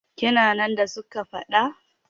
Kina nan da suka yi faɗa?